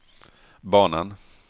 banan